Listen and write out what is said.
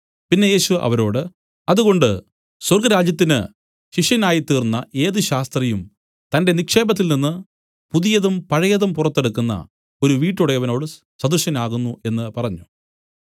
പിന്നെ യേശു അവരോട് അതുകൊണ്ട് സ്വർഗ്ഗരാജ്യത്തിന് ശിഷ്യനായ് തീർന്ന ഏത് ശാസ്ത്രിയും തന്റെ നിക്ഷേപത്തിൽ നിന്നു പുതിയതും പഴയതും പുറത്തെടുക്കുന്ന ഒരു വീട്ടുടയവനോട് സദൃശനാകുന്നു എന്നു പറഞ്ഞു